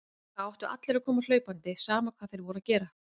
Þá áttu allir að koma hlaupandi, sama hvað þeir voru að gera.